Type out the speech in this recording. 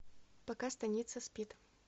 пока станица спит